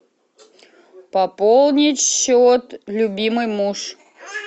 пополнить счет любимый муж